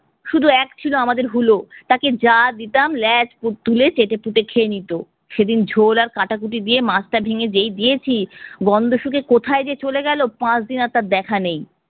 শুধু এক ছিল আমাদের হুলো, তাকে যা দিতাম ল্যাজ তু~ তুলে চেটেপুটে খেয়ে নিতো। সেদিন ঝোল আর কাটাকুটি দিয়ে মাছটা ভেঙ্গে যেই দিয়েছি গন্ধ শুখে কোথায় যে চলে গেলো পাঁচদিন আর তার দেখা নেই।